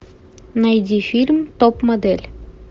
найди фильм топ модель